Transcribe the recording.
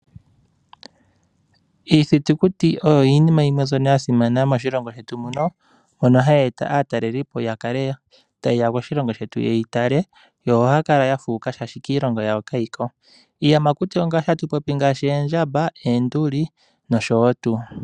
Iithitukuti oyo iinima yimwe mbyono ya simana moshilongo shetu. Ohayi eta aatalelipo ya kale taye ya koshilongo shetu ye yi tale yo ohaya kala ya fuuka, oshoka kiilongo yawo kayi ko. Iiyamakuti ongaashi oondjamba, oonduli nosho tuu.